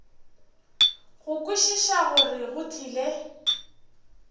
go kwešiša gore go tlile